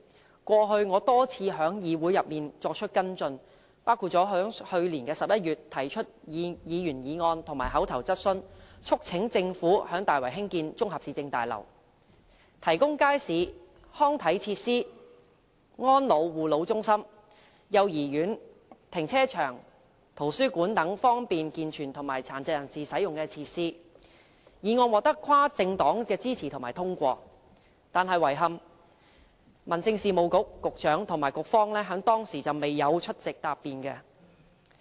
我過去多次在議會內作出跟進，包括在去年11月提出議員議案和口頭質詢，促請政府在大圍興建綜合市政大樓，提供街市、康體設施、安老護老中心、幼兒園、停車場、圖書館等方便健全及殘疾人士使用的設施，議案獲得跨政黨支持和通過，但遺憾的是民政事務局局長和局方當時未有出席答辯。